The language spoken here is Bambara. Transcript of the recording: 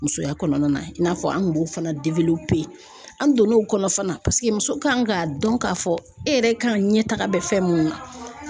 Musoya kɔnɔna na i n'a fɔ an kun b'o fana pere an donn'o kɔnɔ fana muso kan k'a dɔn k'a fɔ e yɛrɛ kan ka ɲɛ taga bɛ fɛn mun na.